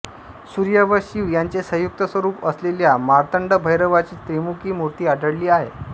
सूर्य व शिव यांचे संयुक्त स्वरूप असलेल्या मार्तंडभैरवाची त्रिमुखी मूर्ती आढळली आहे